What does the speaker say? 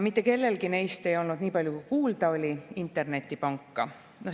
Mitte kellelgi neist ei olnud, niipalju kui kuulda oli, internetipanka.